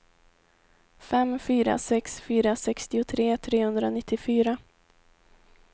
fem fyra sex fyra sextiotre trehundranittiofyra